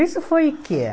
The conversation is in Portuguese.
Isso foi o quê?